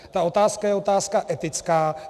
Ta otázka je otázka etická.